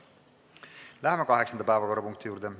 Läheme kaheksanda päevakorrapunkti juurde.